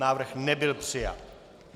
Návrh nebyl přijat.